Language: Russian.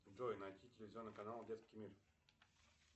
джой найди телевизионный канал детский мир